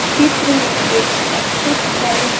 चित्र में एक एक्सिस बैंक --